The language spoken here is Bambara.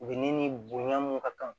U bɛ ni bonya mun ka kan